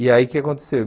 E aí, o que aconteceu?